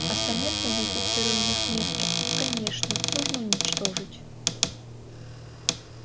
остальных модифицированных несторов конечно нужно уничтожить